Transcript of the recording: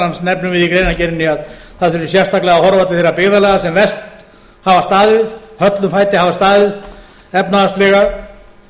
annars nefnum við í greinargerðinni að það þurfi sérstaklega að horfa til þeirra byggðarlaga sem verst hafa staðið höllum fæti hafa staðið efnahagslega